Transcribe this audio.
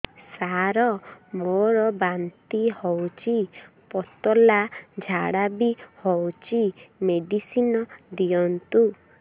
ସାର ମୋର ବାନ୍ତି ହଉଚି ପତଲା ଝାଡା ବି ହଉଚି ମେଡିସିନ ଦିଅନ୍ତୁ